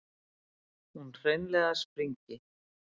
Hún hreinlega springi.